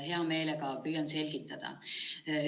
Hea meelega püüan selgitada.